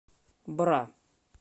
бра